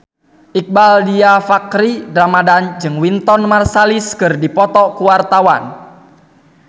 Iqbaal Dhiafakhri Ramadhan jeung Wynton Marsalis keur dipoto ku wartawan